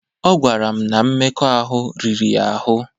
Ọ gwara m na mmekọahụ riri ya ahụ́.